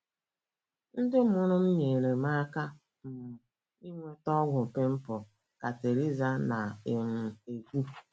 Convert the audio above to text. “ Ndị mụrụ m nyeere m aka um inweta ọgwụ pịmpụl, ” ka Teresa na - um ekwu.